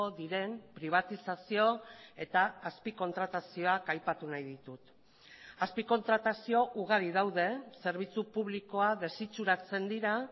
diren pribatizazio eta azpikontratazioak aipatu nahi ditut azpikontratazio ugari daude zerbitzu publikoa desitxuratzen dira